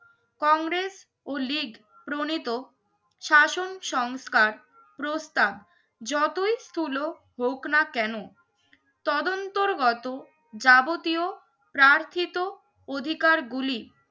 কংগ্রেস ও লীগ প্রণিত শাসন সংস্কার প্রস্তাব যতই স্থুল হোক না কেন তদন্ত গত যাবতীয় প্রার্থীত অধিকার গুলি